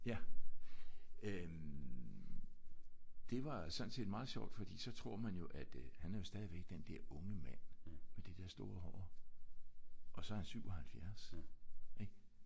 Ja. Øh det var sådan set meget sjovt fordi så tror man jo at øh han er stadigvæk den der unge mand med det der store hår. Og så er han jo 77 ik?